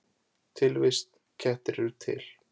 Tilvist: Kettir eru til